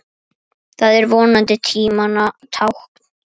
Það er vonandi tímanna tákn.